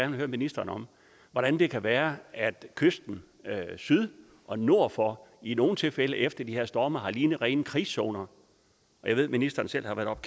vil høre ministeren om hvordan det kan være at kysten syd og nord for i nogle tilfælde efter de her storme har lignet rene krigszoner jeg ved at ministeren selv har været oppe